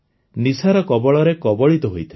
ନିଶାର କବଳରେ କବଳିତ ହୋଇଥିଲା